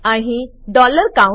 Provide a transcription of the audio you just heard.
અહી count